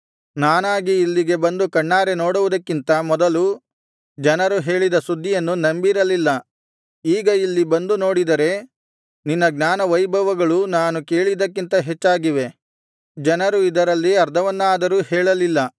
ನಾನಾಗಿ ಇಲ್ಲಿಗೆ ಬಂದು ಕಣ್ಣಾರೆ ನೋಡುವುದಕ್ಕಿಂತ ಮೊದಲು ಜನರು ಹೇಳಿದ ಸುದ್ದಿಯನ್ನು ನಂಬಿರಲಿಲ್ಲ ಈಗ ಇಲ್ಲಿ ಬಂದು ನೋಡಿದರೆ ನಿನ್ನ ಜ್ಞಾನವೈಭವಗಳು ನಾನು ಕೇಳಿದ್ದಕ್ಕಿಂತ ಹೆಚ್ಚಾಗಿವೆ ಜನರು ಇದರಲ್ಲಿ ಅರ್ಧವನ್ನಾದರೂ ಹೇಳಲಿಲ್ಲ